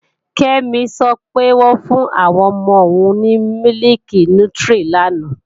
Kẹ́mi sọ pé, wọ́n fún àwọn ọmọ òun ní mílìkì nútírí lánàá